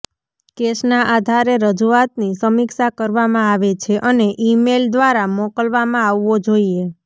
કેસના આધારે રજૂઆતની સમીક્ષા કરવામાં આવે છે અને ઇમેઇલ દ્વારા મોકલવામાં આવવો જોઈએ